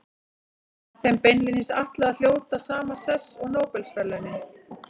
Er þeim beinlínis ætlað að hljóta sama sess og Nóbelsverðlaunin.